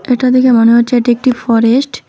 এটা দেখে মনে হচ্ছে এটি একটি ফরেস্ট ।